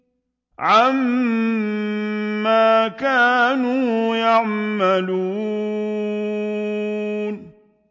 عَمَّا كَانُوا يَعْمَلُونَ